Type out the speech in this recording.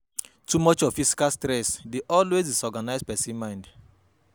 Too much of physical stress dey always disorganise persin mind